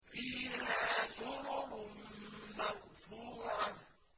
فِيهَا سُرُرٌ مَّرْفُوعَةٌ